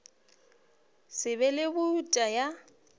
se be le boutu ya